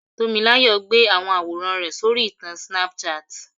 Tomilayo gbé àwọn àwòrán rẹ̀ sórí ìtàn Snapchat.